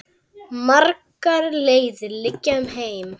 Margar leiðir liggja um heim.